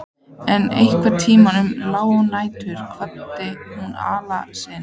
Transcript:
En einhvern tíma um lágnættið kvaddi hún Alla sinn.